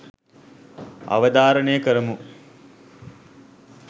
අවධාරණය කරමු.